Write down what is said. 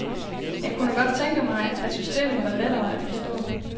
Jeg kunne godt tænke mig, at systemet var lettere at forstå.